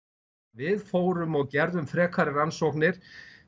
við fórum og gerðum frekari rannsóknir